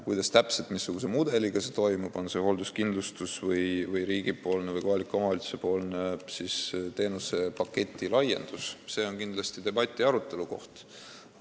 Kuidas täpselt see toimub, missugune see mudel on, on see hoolduskindlustus või riigi või kohaliku omavalitsuse teenusepaketi laiendus, see on kindlasti debati koht.